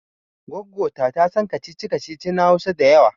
Goggo ta tasan kacici kacici na Hausa da yawa